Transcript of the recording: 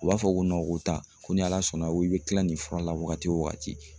U b'a fɔ ko ko taa ko ni ala sɔnna ko i bɛ kila nin fura la waagati o waagati.